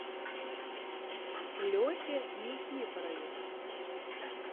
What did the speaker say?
лехе никифорове